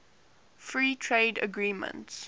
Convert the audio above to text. free trade agreements